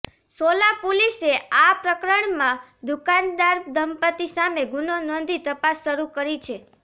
સોલા પોલીસે આ પ્રકરણમાં દુકાનદાર દંપતિ સામે ગુનો નોંધી તપાસ શરૂ કરી છે